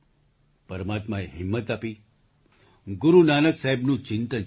પરમાત્માએ હિંમત આપી ગુરુ નાનક સાહેબનું ચિંતન છે